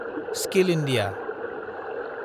skill India